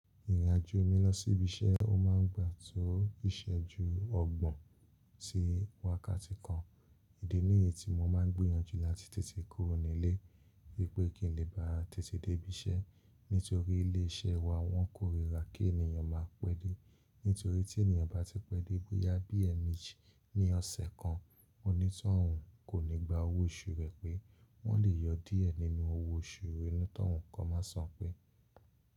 Ìrìnàjò mi lọ sí ibi iṣẹ́ ó máa ń gbà tó ìṣẹ́ ju ọgbọ̀n sí wákàtí kan. Ìdí nìyí tí mo máa ń gbóyanjú láti tètè kúrò nílé wípé kín lè bá tètè dé ibi iṣẹ́. Nítorí ilé iṣẹ́ wa wọ́n kórira kí ènìyàn máa pẹ́ dé. Nítorí tí ènìyàn bá ti pẹ́ dé bóyá bí ẹmeeji ní ọ̀sẹ̀ kan, onítọ̀hún kò ní gbà owó oṣù rẹ pé. Wọ́n lè yọ díẹ̀ nínú owó oṣù ẹ̀ni tọ̀hún kan máa san pé.